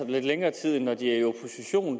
lidt længere tid end når de